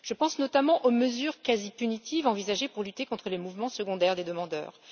Je pense notamment aux mesures quasi punitives envisagées pour lutter contre les mouvements secondaires des demandeurs.